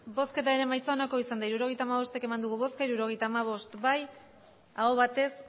hirurogeita hamabost eman dugu bozka hirurogeita hamabost bai aho batez